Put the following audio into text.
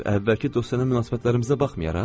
Əvvəlki dostyana münasibətlərimizə baxmayaraq?